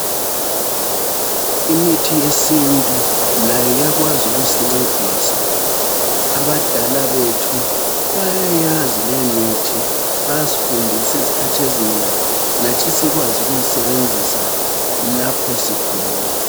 Imithi yesintu layo iyakwazi ukusincedisa. Abadala bethu bayayazi leyo mithi. Bayasifundisa iskhathi ezinengi lathi sikwazi ukuyisebenzisa lapho sigula.